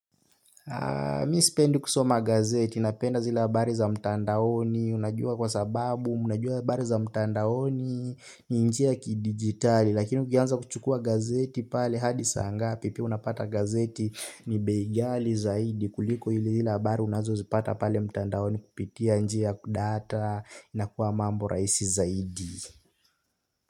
Mimi sipendi kusoma gazeti napenda zile bari za mtandaoni unajua kwa sababu unajua habari za mtandaoni ni njia kidigitali lakini ukianza kuchukua gazeti pale hadi saa ngapi pia unapata gazeti ni bei ghali zaidi kuliko ile habari unazozipata pale mtandaoni kupitia njia kudata inakuwa mambo rahisi zaidi.